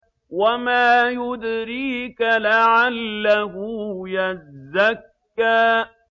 وَمَا يُدْرِيكَ لَعَلَّهُ يَزَّكَّىٰ